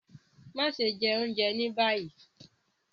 Maṣe jẹ ounjẹ ni bayi